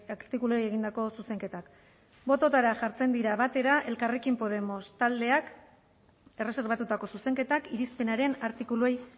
artikuluei egindako zuzenketak bototara jartzen dira batera elkarrekin podemos taldeak erreserbatutako zuzenketak irizpenaren artikuluei